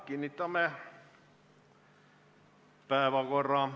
Kinnitame päevakorra.